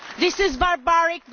This is barbaric.